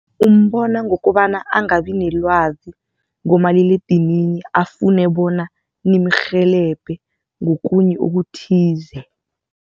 Umbona ngokobana angabi nelwazi ngomaliledinini afune bona nimrhelebhe ngokunye okuthize.